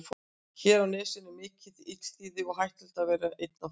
Hér á nesinu er mikið um illþýði og hættulegt að vera einn á ferð.